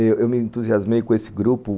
Eu eu me entusiasmei com esse grupo.